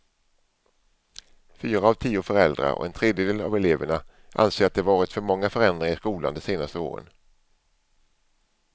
Fyra av tio föräldrar och en tredjedel av eleverna anser att det varit för många förändringar i skolan de senaste åren.